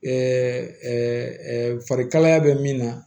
farikalaya bɛ min na